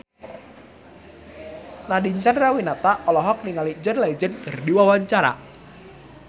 Nadine Chandrawinata olohok ningali John Legend keur diwawancara